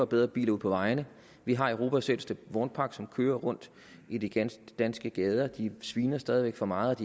bedre biler ud på vejene vi har europas ældste vognpark som kører rundt i de danske gader de sviner stadig væk for meget